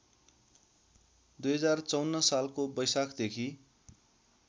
२०५४ सालको बैशाखदेखि